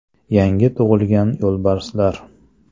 Yangi tug‘ilgan yo‘lbarslar.